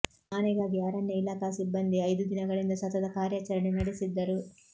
ಆನೆಗಾಗಿ ಅರಣ್ಯ ಇಲಾಖಾ ಸಿಬ್ಬಂದಿ ಐದು ದಿನಗಳಿಂದ ಸತತ ಕಾರ್ಯಾಚರಣೆ ನಡೆಸಿದ್ದರು